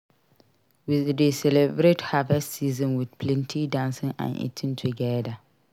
We dey celebrate harvest season with plenty dancing and eating together.